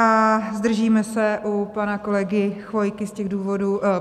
A zdržíme se u pana kolegy Chvojky z těch důvodů...